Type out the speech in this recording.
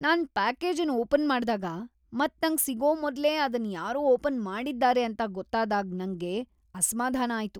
ನಾನ್ ಪ್ಯಾಕೇಜನ್ ಓಪನ್ ಮಾಡ್ದಾಗ ಮತ್ ನಂಗ್ ಸಿಗೋ ಮೊದ್ಲೇ ಅದನ್ ಯಾರೋ ಓಪನ್ ಮಾಡಿದ್ದಾರೆ ಅಂತ ಗೊತ್ತಾದಾಗ್ ನಂಗ್ ಅಸ್ಮಾಧಾನ ಆಯ್ತು.